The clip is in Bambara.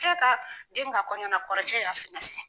E ka den ka kɔɲɔna kɔrɔkɛ y'a